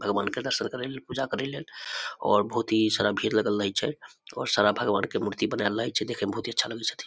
भगवान के दर्शन करेले पूजा करे लेल और बहुत ही सारा भीड़ लगल रहय छै और सारा भगवान के मूर्ति बनाएल रहय छै देखे में बहुत ही अच्छा लगय छथीन।